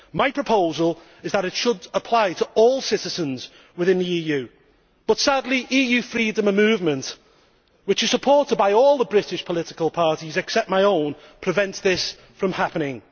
My proposal is that it should apply to all citizens within the EU but, sadly, EU freedom of movement, which is supported by all the British political parties except my own, prevents this from happening.